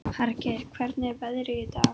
Hergeir, hvernig er veðrið í dag?